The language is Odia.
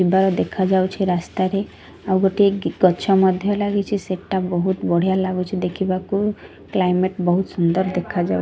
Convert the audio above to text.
ଯିବାର ଦେଖାଯାଉଛି ରାସ୍ତାରେ ଆଉ ଗୋଟିଏ ଗ୍ ଗଛ ମଧ୍ୟ ଲାଗିଚି ସେଟା ବୋହୁତ ବଢ଼ିଆ ଲାଗୁଛି ଦେଖିବାକୁ କ୍ଲାଇମେଟ୍ ବୋହୁତ ସୁନ୍ଦର ଦେଖାଯାଉ --